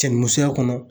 Cɛ ni musoya kɔnɔ